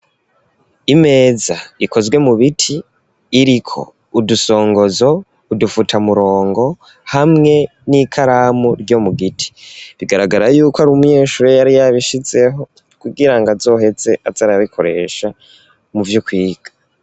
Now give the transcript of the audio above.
Imeza ikozwe mu biti iriko udusongozo udufuta murongo hamwe n'ikaramu ryo mu giti, bigaragara yuko ari umunyeshuri yari yabishizeho kugirango azoheze aza arabikoresha mu vyukwiga.